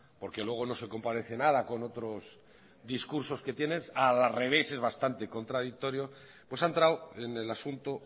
porque luego no se comparece nada con otros discursos que tienes a la revés bastante contradictorio pues ha entrado en el asunto